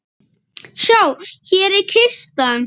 Sjá, hér er kistan.